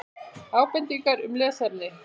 Ábendingar um lesefni: